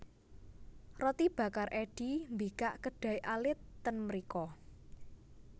Roti Bakar Eddy mbikak kedai alit ten mriko